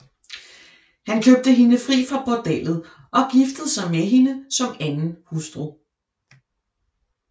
Han købte hende fri fra bordellet og giftede sig med hende som anden hustru